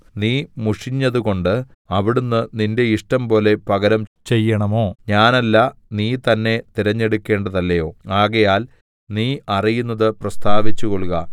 നീ മുഷിഞ്ഞതുകൊണ്ട് അവിടുന്ന് നിന്റെ ഇഷ്ടംപോലെ പകരം ചെയ്യണമോ ഞാനല്ല നീ തന്നെ തിരഞ്ഞെടുക്കേണ്ടതല്ലയോ ആകയാൽ നീ അറിയുന്നത് പ്രസ്താവിച്ചുകൊള്ളുക